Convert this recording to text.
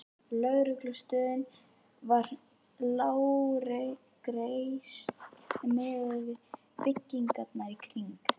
Lögreglustöðin var lágreist miðað við byggingarnar í kring.